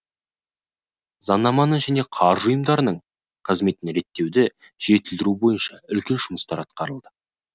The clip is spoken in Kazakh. заңанаманы және қаржы ұйымдарының қызметін реттеуді жетілдіру бойынша үлкен жұмыстар атқарылды